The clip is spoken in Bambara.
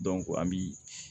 an bi